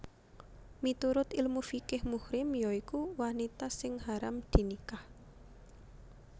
Miturut ilmu fiqih muhrim ya iku wanita sing haram dinikah